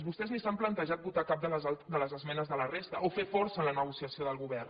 vostès ni s’han plantejat votar cap de les esmenes de la resta o fer força en la negociació del govern